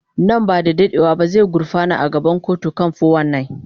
Nan ba da jimawa ba zai gurfana a gaban kotu kan 419.